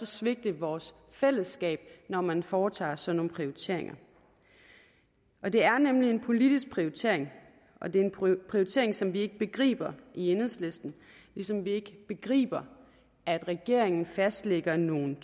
svigte vores fællesskab når man foretager sådan nogle prioriteringer det er nemlig en politisk prioritering og det er en prioritering som vi ikke begriber i enhedslisten ligesom vi ikke begriber at regeringen fastlægger nogle